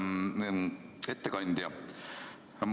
Austatud ettekandja!